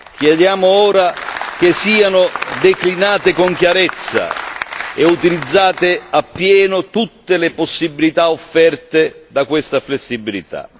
Chiediamo ora che siano declinate con chiarezza e utilizzate appieno tutte le possibilità offerte da questa flessibilità.